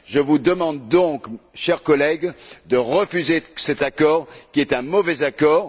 Je vous demande donc, chers collègues, de refuser cet accord qui est un mauvais accord.